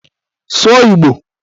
Sụọ Igbo!